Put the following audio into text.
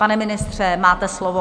Pane ministře, máte slovo.